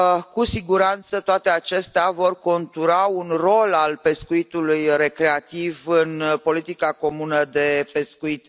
Cu siguranță, toate acestea vor contura un rol al pescuitului recreativ în politica comună de pescuit.